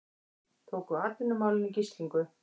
Tóku atvinnumálin í gíslingu